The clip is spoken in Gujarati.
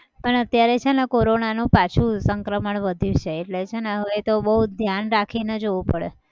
પણ અત્યારે છેને કોરોનાનું પાછું સંક્રમણ વધ્યું છે એટલે છેને હવે તો બહુ ધ્યાન રાખીને જવું પડે.